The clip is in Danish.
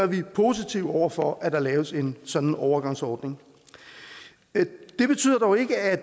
vi positive over for at der laves en sådan overgangsordning det betyder dog ikke at